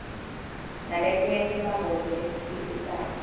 naletinye timphambosi letikhicitako